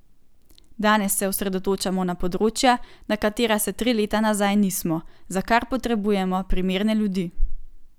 Danes se osredotočamo na področja, na katera se tri leta nazaj nismo, za kar potrebujemo primerne ljudi.